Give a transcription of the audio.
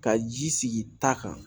Ka ji sigi ta kan